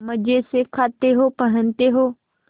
मजे से खाते हो पहनते हो